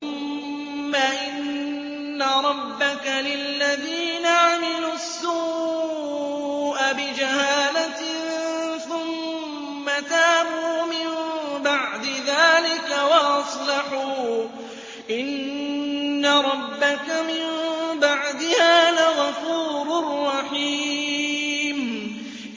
ثُمَّ إِنَّ رَبَّكَ لِلَّذِينَ عَمِلُوا السُّوءَ بِجَهَالَةٍ ثُمَّ تَابُوا مِن بَعْدِ ذَٰلِكَ وَأَصْلَحُوا إِنَّ رَبَّكَ مِن بَعْدِهَا لَغَفُورٌ رَّحِيمٌ